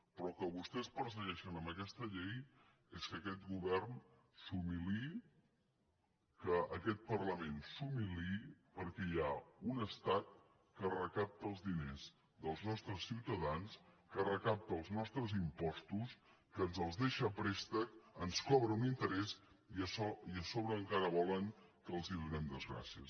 però el que vostès persegueixen amb aquesta llei és que aquest govern s’humiliï que aquest parlament s’humiliï perquè hi ha un estat que recapta els diners dels nostres ciutadans que recapta els nostres impostos que ens els deixa a préstec ens cobra un interès i a sobre encara volen que els donem les gràcies